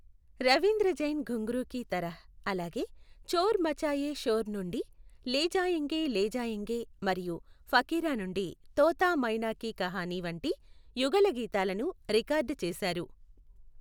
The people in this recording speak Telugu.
రవీంద్ర జైన్ ఘుంగ్రూ కీ తరహ్ అలాగే చోర్ మచాయే షోర్ నుండి లే జాయెంగే లే జాయెంగే మరియు ఫకీరా నుండి తోతా మైనా కీ కహాని వంటి యుగళగీతాలను రికార్డ్ చేశారు.